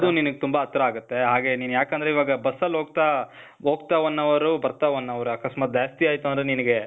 ಅದೂ ನಿನಿಗ್ ತುಂಬಾ ಹತ್ರ ಆಗತ್ತೆ. ಹಾಗೆ ನೀನ್ ಯಾಕಂದ್ರೆ ಇವಾಗ ಬಸ್ಸಲ್ ಹೋಗ್ತಾ , ಹೋಗ್ತಾ one hour ಬರ್ತಾ one hour. ಅಕಸ್ಮಾತ್ ಜಾಸ್ತಿ ಆಯ್ತು ಅಂದ್ರೆ ನಿನಿಗೇ,